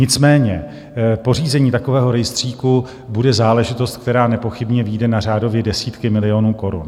Nicméně pořízení takového rejstříku bude záležitost, která nepochybně vyjde na řádově desítky milionů korun.